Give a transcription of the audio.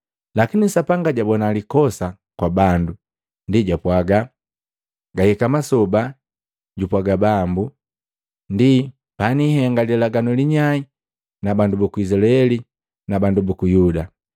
Lakini Sapanga jabona likosa kwa bandu, ndi jwapwaga: “Gahika masoba, jupwaga Bambu, ndi panihenga lilaganu linyai na bandu buku Izilaeli na bandu buku Yuda.